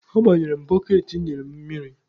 Agbanyere m boketị penti ị nyere m mmiri.